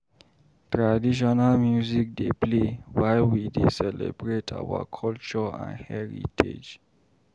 Traditional music dey play while we dey celebrate our culture and heritage.